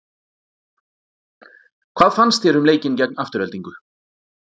Hvað fannst þér um leikinn gegn Aftureldingu?